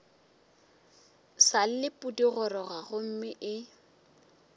sa le pudigoroga gomme e